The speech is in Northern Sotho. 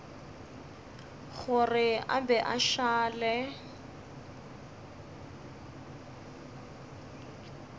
gore a be a šale